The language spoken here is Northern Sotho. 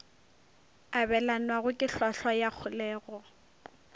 abelanwago ke hlwahlwa ya kholego